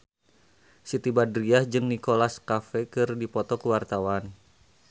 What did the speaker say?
Siti Badriah jeung Nicholas Cafe keur dipoto ku wartawan